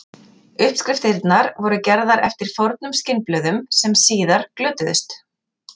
Uppskriftirnar voru gerðar eftir fornum skinnblöðum sem síðar glötuðust.